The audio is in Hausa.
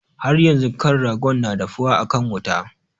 Haryanzun ƙan ragon na dafuwa akan wuta.